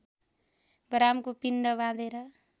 ग्रामको पिण्ड बाँधेर